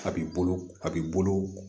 A b'i bolo a b'i bolo